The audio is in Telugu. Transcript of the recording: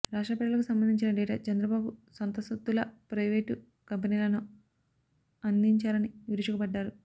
రాష్ట్ర ప్రజలకు సంబంధించిన డేటా చంద్రబాబు సొంత సొత్తులా ప్రయివేటు కంపెనీలను అందించారని విరుచుకు పడ్డారు